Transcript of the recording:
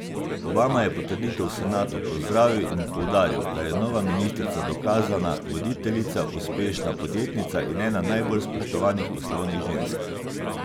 Obama je potrditev v senatu pozdravil in poudaril, da je nova ministrica dokazana voditeljica, uspešna podjetnica in ena najbolj spoštovanih poslovnih žensk.